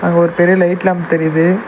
அங்க ஒரு பெரிய லைட் லேம்ப் தெரியிது.